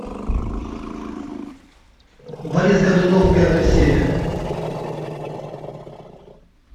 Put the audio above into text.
борис годунов первая серия